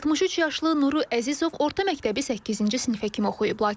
63 yaşlı Nuru Əzizov orta məktəbi səkkizinci sinifə kimi oxuyub.